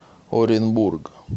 оренбург